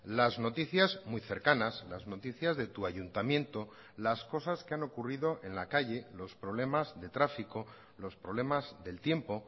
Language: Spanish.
las noticias muy cercanas las noticias de tu ayuntamiento las cosas que han ocurrido en la calle los problemas de tráfico los problemas del tiempo